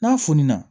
N'a fununna